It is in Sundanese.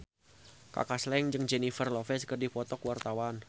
Kaka Slank jeung Jennifer Lopez keur dipoto ku wartawan